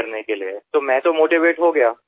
त्यांना चालना देण्यासाठी तर मी स्वतः प्रेरित झालो